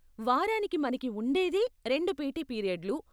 వారానికి మనకి ఉండేదే రెండు పీటీ పీరియడ్లు.